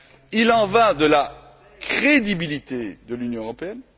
Il en va de la crédibilité de l'Union européenne.